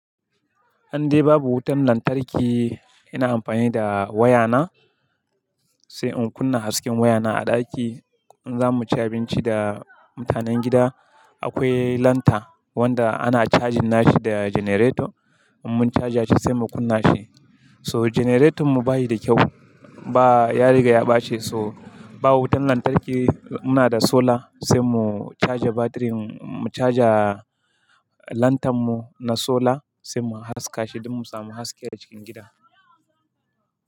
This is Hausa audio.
An dai babu wutan lantarki, ina amfani da wayana, sai in kunna hasken wayana a ɗaki. In za mu ci abinci da mutanen gida, akwai lanta, wanda ana cajin nashi da generator, Mun caja shi sai mu kunna shi. So generaton mu ba yi da kyau. Ba, ya riga ya baci, so ba wutan lantarki, muna da solar sai mu caja batirin, Mu caja lantarn mu na solar, sai mu haska shi don mu samu haske a cikin gida.